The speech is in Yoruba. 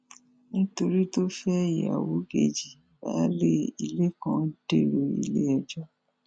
nítorí tó fẹ ìyàwó kejì baálé ilé kan dèrò iléẹjọ